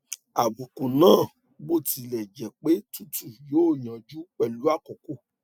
àbùkù náà bó tilẹ jẹ pé tútù yóò yanjú pẹlú àkókò